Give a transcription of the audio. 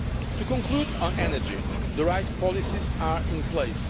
To conclude on energy the right policies are in place.